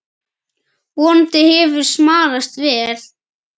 Vonandi hefur smalast vel.